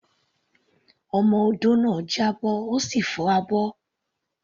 Ọmọ odó náà já bọ́, ó sì fọ́ abọ́.